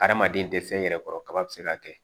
Adamaden tɛ fɛn yɛrɛ kɔrɔ kaba bɛ se ka kɛ